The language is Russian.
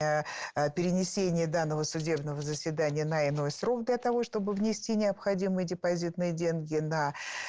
перенесение данного судебного заседания на иной срок для того чтобы внести необходимые депозитные деньги на